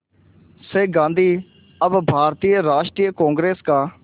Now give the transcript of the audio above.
से गांधी अब भारतीय राष्ट्रीय कांग्रेस का